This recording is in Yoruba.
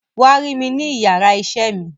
Wa rí mi ni iyàrá iṣẹ mi.